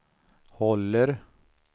håller